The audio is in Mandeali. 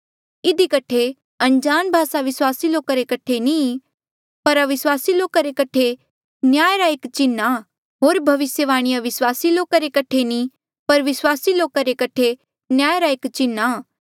इधी कठे अनजाण भासा विस्वासी लोक रे कठे नी ई पर अविस्वासी लोका रे कठे न्याय रा एक चिन्ह आ होर भविस्यवाणी अविस्वासी लोका रे कठे नी ई पर विस्वासी लोका रे कठे न्याय रा एक चिन्ह आ